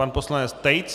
Pan poslanec Tejc.